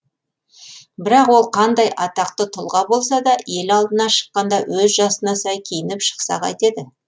бірақ ол қандай атақты тұлға болса да ел алдына шыққанда өз жасына сай киініп шықса қайтеді